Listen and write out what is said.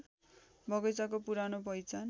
बगैंचाको पुरानो पहिचान